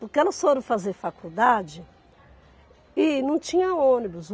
Porque elas foram fazer faculdade e não tinha ônibus.